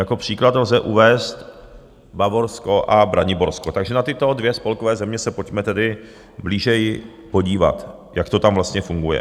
Jako příklad lze uvést Bavorsko a Braniborsko, takže na tyto dvě spolkové země se pojďme tedy blíže podívat, jak to tam vlastně funguje.